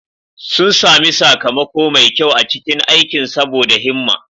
Sun sami sakamako mai kyau a cikin aikin saboda himma.